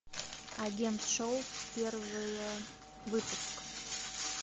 агент шоу первый выпуск